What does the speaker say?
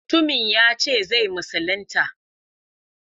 Mutumin yace zai musulunta.